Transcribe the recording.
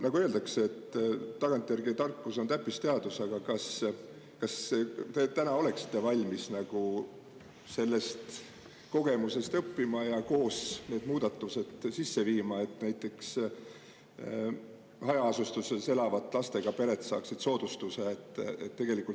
Nagu öeldakse, tagantjärgi tarkus on täppisteadus, aga kas te oleksite valmis sellest kogemusest õppima ja need muudatused koos sisse viima, et näiteks hajaasustuses elavad lastega pered saaksid soodustuse?